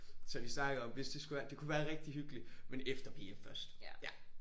Så vi snakkede om hvis det skulle det kunne være rigtig hyggeligt men efter PF først ja